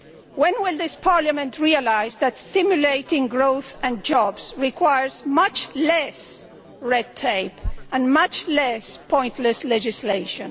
When will this Parliament realise that stimulating growth and jobs requires much less red tape and much less pointless legislation?